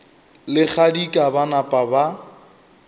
le kgadika ba napa ba